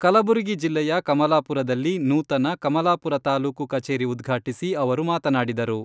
ಕಲಬುರಗಿ ಜಿಲ್ಲೆಯ ಕಮಲಾಪುರದಲ್ಲಿ ನೂತನ "ಕಮಲಾಪುರ ತಾಲೂಕು ಕಚೇರಿ ಉದ್ಘಾಟಿಸಿ ಅವರು ಮಾತನಾಡಿದರು.